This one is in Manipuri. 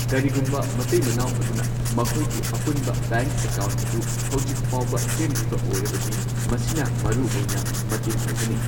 ꯀꯔꯤꯒꯨꯝꯕ ꯃꯇꯩ ꯃꯅꯥꯎ ꯑꯗꯨꯅ ꯃꯈꯣꯏꯒꯤ ꯑꯄꯨꯟꯕ ꯕꯦꯡꯛ ꯑꯦꯀꯥꯎꯟꯠ ꯑꯗꯨ ꯍꯧꯖꯤꯛ ꯐꯥꯎꯕ ꯁꯦꯝꯗ꯭ꯔꯤꯕ ꯑꯣꯏꯔꯕꯗꯤ ꯃꯁꯤꯅ ꯃꯔꯨꯑꯣꯏꯅ ꯃꯇꯦꯡ ꯑꯣꯏꯒꯅꯤ꯫